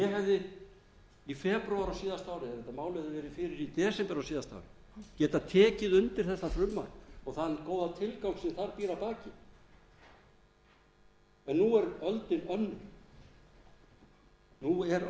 hefði í febrúar á síðasta ári málið var lagt fyrir í desember á síðasta ári getað tekið undir þetta frumvarp og þann góða tilgang sem þar býr að baki en nú er